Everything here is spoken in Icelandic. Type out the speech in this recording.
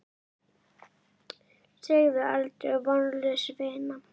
Segðu aldrei: Vonlaus vinna!